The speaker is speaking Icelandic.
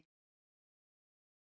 Spenntir að spila á Íslandi